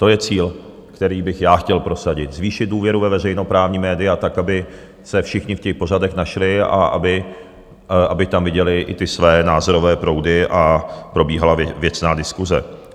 To je cíl, který bych já chtěl prosadit, zvýšit důvěru ve veřejnoprávní média tak, aby se všichni v těch pořadech našli a aby tam viděli i ty své názorové proudy a probíhala věcná diskuse.